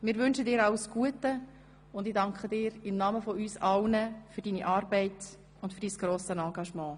Wir wünschen dir alles Gute und ich danke dir im Namen von uns allen für deine Arbeit und dein grosses Engagement.